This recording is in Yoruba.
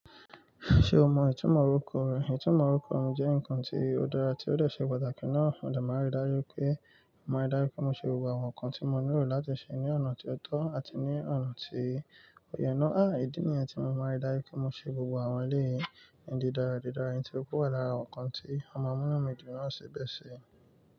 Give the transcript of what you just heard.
Ṣe o mọ itumọ orukọ rẹ? Itumọ orukọ mi jẹ nkan ti o dara ti o le ṣe pataki naa. Mo dárí dájú pé mo máa dárí pé mo ṣe gbogbo àwọn nkan ti mo nílò láti ṣe ní ọ̀nà tí ó tọ́ àti ní ọ̀nà tí ó yẹ. Àí, ìdí nìyẹn tí mo máa ń darí pé mo ṣe gbogbo àwọn léyìn. Ìdídára, ìdídára, nitorikú wa lára àwọn nkan ti ọmọ mọ́mọ́ mi gbìn náà ṣe bẹ́ẹ̀ ṣe.